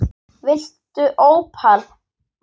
Viltu ópal?